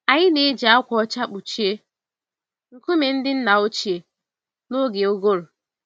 Anyị na-eji ákwà ọcha kpuchie nkume ndị nna ochie n'oge ụgụrụ.